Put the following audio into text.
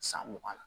San mugan na